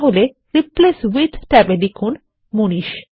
তাহলে replace with ট্যাবে লিখুন মানিশ